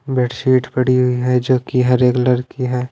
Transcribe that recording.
Bedsheet पड़ी हुई है जो कि हरे कलर की है।